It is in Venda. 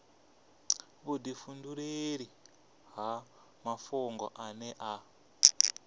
vhudifhinduleli ha mafhungo ane a